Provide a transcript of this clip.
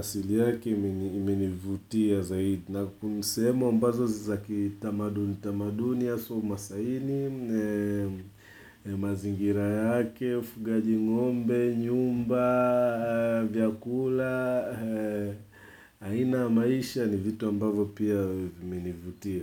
asili yake imenivutia zaidi. Na sehu ambazo zakitamaduni, tamaduni haswa umasaini, mazingira yake, ufugaji ngombe, nyumba, vyakula, aina ya maisha ni vitu ambazo pia vimenivutia.